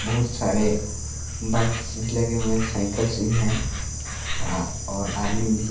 बहुत सारे बाइक्स भी लगे हुए है साइकल्स भी है और आदमी भी--